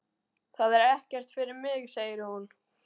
Það er ekkert fyrir mig, segir hún.